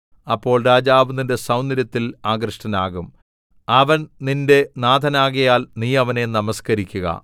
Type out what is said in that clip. അപ്പോൾ രാജാവ് നിന്റെ സൗന്ദര്യത്തിൽ ആകൃഷ്ടനാകും അവൻ നിന്റെ നാഥനാകയാൽ നീ അവനെ നമസ്കരിയ്ക്കുക